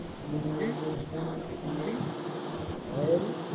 ஆறு